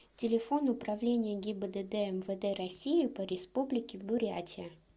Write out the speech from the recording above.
телефон управление гибдд мвд россии по республике бурятия